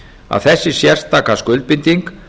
að þessi sérstaka skuldbinding